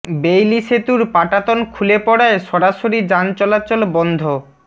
Bailey সেতুর পাটাতন খুলে পড়ায় সরাসরি যান চলাচল বন্ধ